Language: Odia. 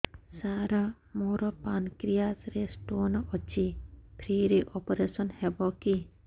ସାର ମୋର ପାନକ୍ରିଆସ ରେ ସ୍ଟୋନ ଅଛି ଫ୍ରି ରେ ଅପେରସନ ହେବ କି